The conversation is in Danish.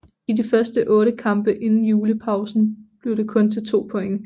I de første 8 kampe inden julepausen blev det kun til 2 point